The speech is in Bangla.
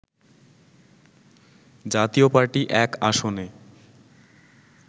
জাতীয় পার্টি ১ আসনে